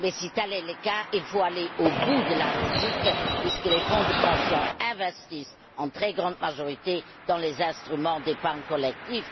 Mais si tel est le cas, il faut aller au bout de la logique, puisque les fonds de pension investissent en très grande majorité dans les instruments d'épargne collective.